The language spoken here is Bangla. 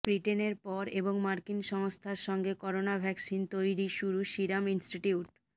ব্রিটেনের পর এবং মার্কিন সংস্থার সঙ্গে করোনা ভ্যাকসিন তৈরি শুরু সিরাম ইনস্টিটিউট